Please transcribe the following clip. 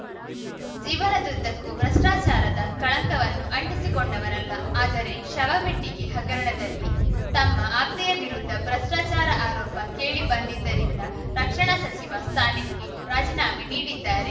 ಜೀವನದುದ್ದಕ್ಕೂ ಭ್ರಷ್ಟಾಚಾರದ ಕಳಂಕವನ್ನು ಅಂಟಿಸಿಕೊಂಡವರಲ್ಲ ಆದರೆ ಶವಪೆಟ್ಟಿಗೆ ಹಗರಣದಲ್ಲಿ ತಮ್ಮ ಆಪ್ತೆಯ ವಿರುದ್ಧ ಭ್ರಷ್ಟಾಚಾರ ಆರೋಪ ಕೇಳಿ ಬಂದಿದ್ದರಿಂದ ರಕ್ಷಣಾ ಸಚಿವ ಸ್ಥಾನಕ್ಕೆ ರಾಜೀನಾಮೆ ನೀಡಿದ್ದಾರೆ